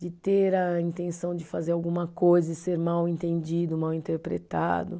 De ter a intenção de fazer alguma coisa e ser mal entendido, mal interpretado.